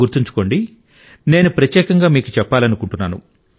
గుర్తుంచుకోండి నేను ప్రత్యేకంగా మీకు చెప్పాలనుకుంటున్నాను